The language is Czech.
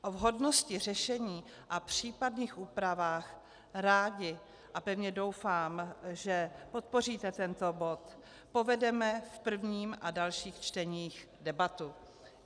O vhodnosti řešení a případných úpravách rádi, a pevně doufám, že podpoříte tento bod, povedeme v prvním a dalších čteních debaty.